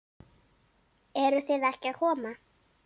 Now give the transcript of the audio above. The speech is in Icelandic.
Eruð þið ekki að koma?